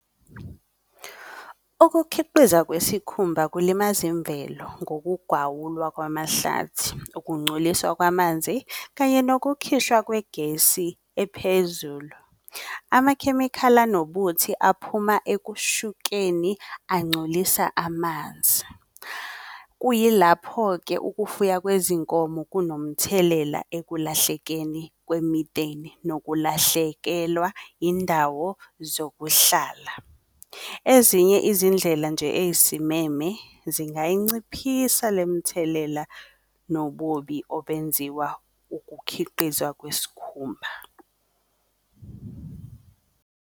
Ukukhiqizwa kwesikhumba kulimaza imvelo ngokugwawulwa kwamahlathi, ukungcoliswa kwamanzi kanye nokukhishwa kwegesi ephezulu. Amakhemikhali anobuthi aphuma ekushukeni angcolisa amanzi. Kuyilapho-ke ukufuya kwezinkomo kunomthelela ekulahlekeni kwemiteni nokulahlekelwa indawo zokuhlala. Ezinye izindlela nje eyisimeme zingayinciphisa le mthelela nobubi obenziwa ukukhiqizwa kweskhumba.